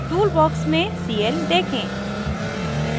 tool box में cl देखें